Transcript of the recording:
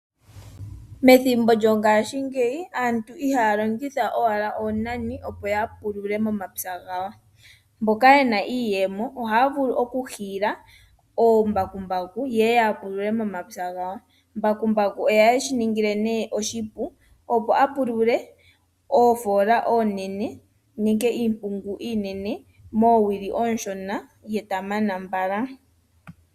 Methimbo lyongashingeyi aantu ihaalongitha owala oonani opo ya pulule momapya gawo. Mboka yena iiyemo ohaya vulu oku hiila oombakumbaku yeye ya pulule momapya gawo. Mbakumbaku ohaye shi ningila nee oshipu opo apulule oofola oonene nenge iimpungu iinene moowili ooshona, ye tamana mbala.